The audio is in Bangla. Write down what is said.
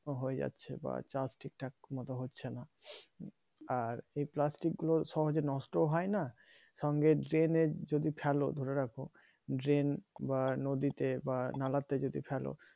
হয়ে যাচ্ছে বা চাষ ঠিকঠাক মত হচ্ছে না আর এই প্লাস্টিক গুলো সহজেই নষ্ট হয় না সঙ্গে drain যদি ফেলো ধরে রাখো ড্রেন বা নদীতে বা নালাতে যদি ফেলো